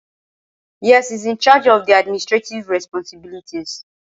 Êàê ó ìåíÿ íåò íè÷òî íè÷òî íå ìîãó.